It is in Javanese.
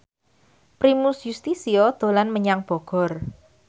Primus Yustisio dolan menyang Bogor